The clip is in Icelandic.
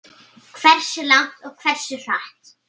Hversu langt og hversu hratt.